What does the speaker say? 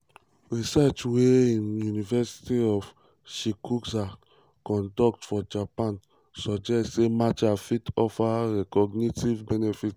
research wey um university of shizuoka um conduct for japan suggest say matcha fit offer cognitive benefits.